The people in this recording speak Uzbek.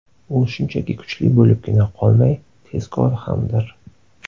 U shunchaki kuchli bo‘libgina qolmay tezkor hamdir.